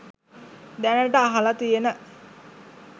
දැනට අහල තියන